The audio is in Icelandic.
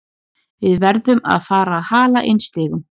Við verðum að fara að hala inn stigum.